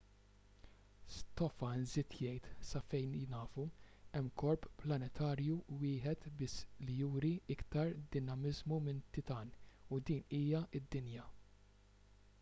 stofan żied jgħid sa fejn nafu hemm korp planetarju wieħed biss li juri iktar dinamiżmu minn titan u din hija d-dinja